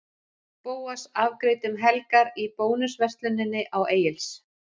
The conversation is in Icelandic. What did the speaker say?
Bóas afgreiddi um helgar í Bónusversluninni á Egils